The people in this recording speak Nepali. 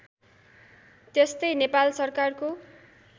त्यस्तै नेपाल सरकारको